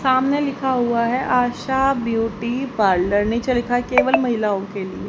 सामने लिखा हुआ है आशा ब्यूटी पार्लर निचे लिखा है केवल महिलाओं के लिए।